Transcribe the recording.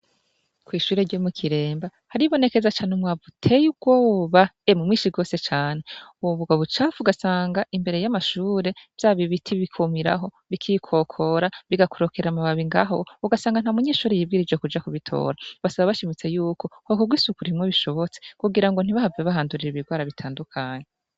kw'ishure ryo mu kiremba haribonekeza cane umwavu uteye ubwoba e mwishi gose cane ubwo bucafu ugasanga imbere y'amashure vyaba ibiti bikumiraho bikikokora bigakurokera amababi ngaho ugasanga nta munyeshuri yibwirejo kuja kubitora basaba bashimitse yuko hokorwa isuku bimwe bishobotse kugira ngo ntibahavye bahandurire ibirwara bitandukanye